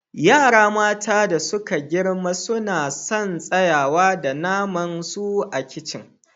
Yara mata da suka girma suna sun tsayawa da naman su a kicin.